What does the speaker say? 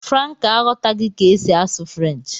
Franca aghọtaghị ka esi asụ French